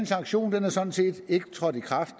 sanktion er sådan set ikke trådt i kraft